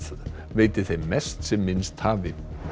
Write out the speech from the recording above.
veiti þeim mest sem minnst hafi